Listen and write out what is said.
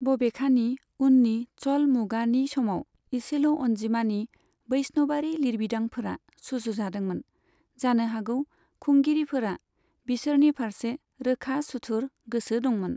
बबेखानि, उननि च'ल मुगानि समाव इसेल' अनजिमानि बैष्णबारि लिरबिदांफोरा सुजुजादोंमोन, जानो हागौ खुंगिरिफोरा बिसोरनि फारसे रोखा सुथुर गोसो दंमोन।